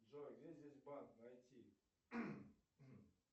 джой где здесь банк найти